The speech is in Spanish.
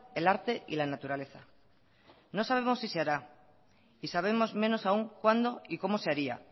el arte y la naturaleza no sabemos si se hará y sabemos menos aún cuándo y cómo se haría